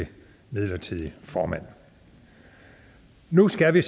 til midlertidig formand nu skal vi